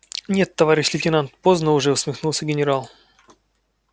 нет товарищ лейтенант поздно уже усмехнулся генерал